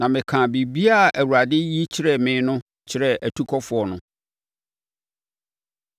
Na mekaa biribiara a Awurade yi kyerɛɛ me no kyerɛɛ atukɔfoɔ no.